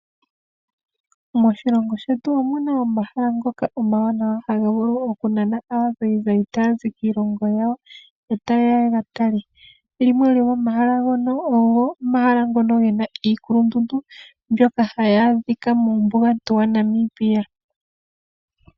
Moshilongo shetu omuna ohala ngoka omawanawa haga vulu okunana aazayizayi taa zi kiilongo yawo etayeya yega tale. limwe lomomahala olyo ehala ndoka lina iikulundundu mbyoka hayi adhika muumbugantu yaNamibia.